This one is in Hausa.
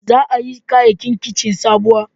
Za a yi kayayyakin kici sabuwa